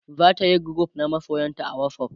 zatayi group na masoyanta a whatsapp